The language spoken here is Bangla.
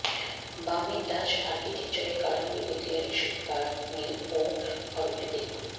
বামে ডাচ আর্কিটেকচারের কারাম্বি ঐতিহাসিক পার্ক মিল ও ঘরগুলি দেখুন